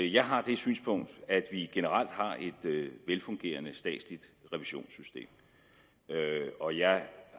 jeg har det synspunkt at vi generelt har et velfungerende statsligt revisionssystem og jeg